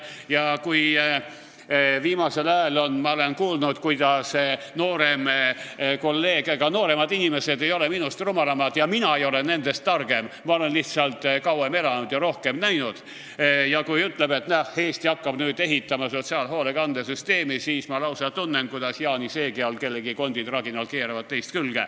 Kui ma viimasel ajal olen kuulnud, kuidas noorem kolleeg – ega nooremad inimesed ei ole minust rumalamad ja mina ei ole nendest targem, ma olen lihtsalt kauem elanud ja rohkem näinud – ütleb, et näe, Eesti hakkab nüüd ehitama sotsiaalhoolekande süsteemi, siis ma lausa tunnen, kuidas Jaani seegi all kellegi kondid raginal keeravad teist külge.